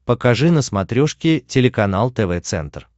покажи на смотрешке телеканал тв центр